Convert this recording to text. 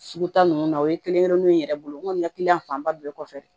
Sugu ta ninnu na o ye kelen kelennen ye n yɛrɛ bolo n ko n ka fanba bɛɛ kɔfɛ